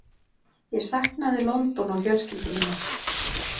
Ég saknaði London og fjölskyldu minnar.